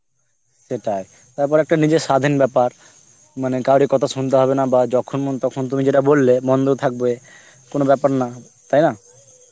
সেটাই, তারপর একটা নিজের সাধীন ব্যাপার মানে কাউরী কথা শুনতে হবে না বা যখন তখন তুমি যেটা বললে বন্ধ ও থাকবে এআ কোনো ব্যাপার না তাই না